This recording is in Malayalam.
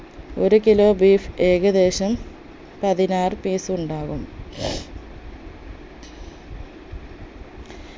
ഒരു kilo beef ഏകദേശം പതിനാറ് piece ഉണ്ടാകും